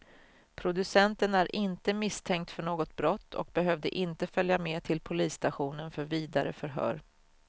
Producenten är inte misstänkt för något brott och behövde inte följa med till polisstationen för vidare förhör.